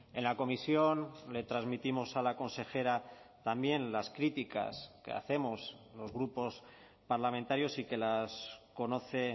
en la comisión le transmitimos a la consejera también las críticas que hacemos los grupos parlamentarios y que las conoce